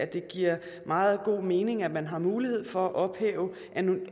det giver meget god mening at man har mulighed for at ophæve